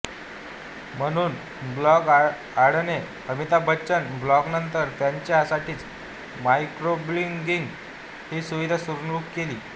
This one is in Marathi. म्हणून ब्लॉग अड्डाने अमिताभ बच्चनच्या ब्लॉगनंतर त्यांच्या साठीची माइक्रोब्लॉगिंग ही सुविधा सुरू केली